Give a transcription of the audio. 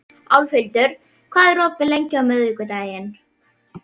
Álfhildur, hvað er opið lengi á miðvikudaginn?